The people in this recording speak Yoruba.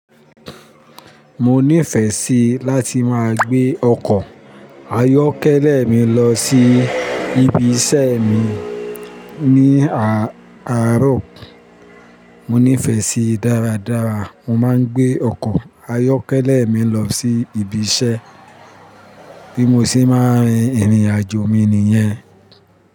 Mo nífẹ̀ẹ́ sí láti máa gbé ọkọ̀ ayọ́kẹ́lẹ́ mi lọ sí ibiṣẹ́ mi ní àárọ̀. Mo nífẹ̀ẹ́ sí í dáradára. Mo máa ń gbé ọkọ̀ ayọ́kẹ́lẹ́ mi lọ sí ibiṣẹ́ bí mo ṣe máa rìn ìrìnàjò mi nìyẹn.